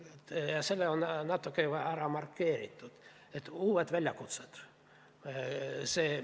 Markeerin selle natuke ära: uued väljakutsed.